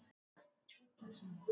Málefnin voru rökrædd á bága bóga.